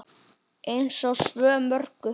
Eins og svo mörgu.